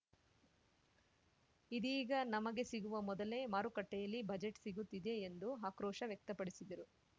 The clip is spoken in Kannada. ಇದೀಗ ನಮಗೆ ಸಿಗುವ ಮೊದಲೇ ಮಾರುಕಟ್ಟೆಯಲ್ಲಿ ಬಜೆಟ್‌ ಸಿಗುತ್ತಿದೆ ಎಂದು ಆಕ್ರೋಶ ವ್ಯಕ್ತಪಡಿಸಿದರು